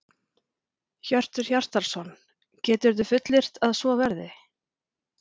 Hjörtur Hjartarson: Geturðu fullyrt að svo verði?